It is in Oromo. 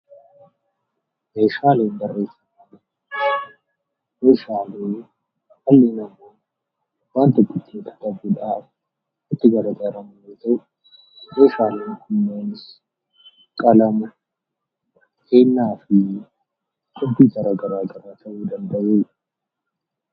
Meeshaalee barreeffamaa jechuun Meeshaalee dhalli namaa waanta tokko ittiin qabachuudhaaf itti fayyadamu yoo ta'u, Meeshaalee kunneenis kalama, beennaa fi kompiitara garaagaraa ta'uu ni danda'u.